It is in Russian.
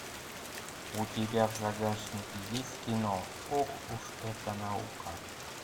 у тебя в загашнике есть кино ох уж эта наука